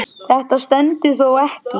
Þetta stendur þó ekki lengi.